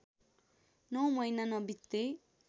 नौ महिना नबित्दै